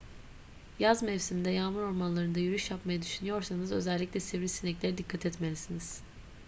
yaz mevsiminde yağmur ormanlarında yürüyüş yapmayı düşünüyorsanız özellikle sivrisineklere dikkat etmelisiniz